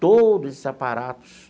Todos esses aparatos.